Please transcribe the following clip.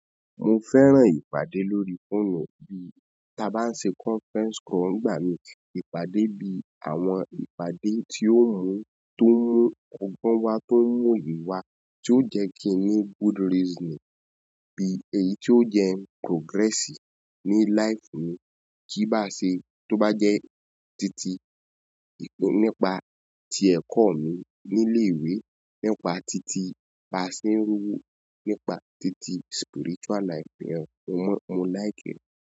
Mo fẹ́ràn ìpàdé lórí fóònù bí ta bá ń ṣe conference call ń'gbà mí. Ìpàdé bí àwọn ìpàdé tí ó mú, tó ń mu ọgbọ́n wa, tó ń mú oye wa, tí ó jẹ́ kí n ní good reasoning, bí èyí tí ó jẹ́n progress ni life mi. Kí bá ṣe tó bá jẹ́ titi nípa ti ẹ̀kọ́ mi ní ilé ìwé, nípa titi baa se n r'owo, nípa titi spiritual life. Mo like.